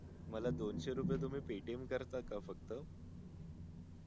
मला दोनशे रुपये तुम्ही paytm करता का फक्त